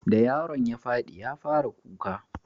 da yaron ya fadi ya fara kuka